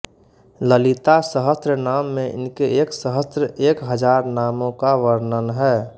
ललितासहस्रनाम में इनके एक सहस्र एक हजार नामों का वर्णन है